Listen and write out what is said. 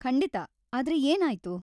ಖಂಡಿತಾ, ಆದ್ರೆ ಏನಾಯ್ತು?